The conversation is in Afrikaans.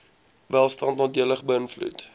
welstand nadelig beïnvloed